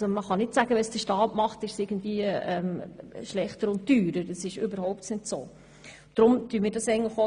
Man kann nicht sagen, es sei schlechter und teurer, wenn der Staat eine Aufgabe ausführt.